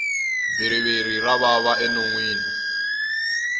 bhiriviri ra vava enonwini